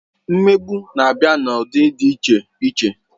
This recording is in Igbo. Mmegbu na-abịa n'ụdị dị iche iche.